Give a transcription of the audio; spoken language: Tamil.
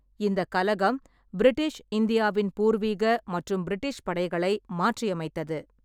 இந்தக் கலகம் பிரிட்டிஷ் இந்தியாவின் பூர்வீக மற்றும் பிரிட்டிஷ் படைகளை மாற்றியமைத்தது.